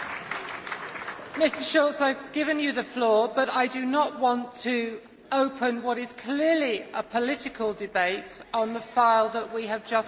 Mr Schulz, I have given you the floor but I do not want to open what is clearly a political debate on the file that we have just voted on.